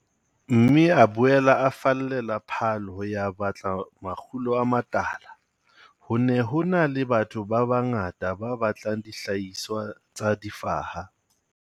Mme a boela a fallela Paarl ho ya batla makgulo a matala. Ho ne ho na le batho ba bangata ba batlang dihlahiswa tsa difaha.